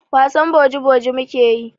Wasan boji-boji mu ke yi.